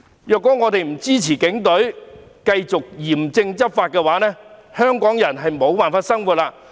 如果我們不支持警隊繼續嚴正執法的話，香港人便無法生活。